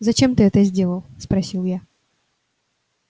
зачем ты это сделал спросил я